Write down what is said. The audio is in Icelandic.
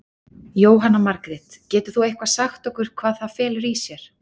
Jóhanna Margrét: Getur þú eitthvað sagt hvað það felur í sér?